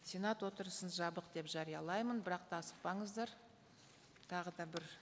сенат отырысын жабық деп жариялаймын бірақ та асықпаңыздар тағы да бір